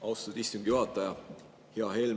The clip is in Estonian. Austatud istungi juhataja!